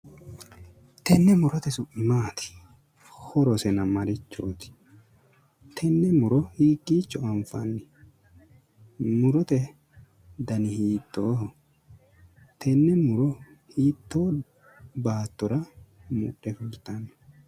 Tenne murote su'mi maati? Horosena marichooti? Tenne muro hiikkicho anfanni? Murote dani hiittooho? Tenne muro hiittoo baattora mudhe fultanno?